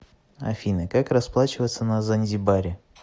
афина как расплачиваться на занзибаре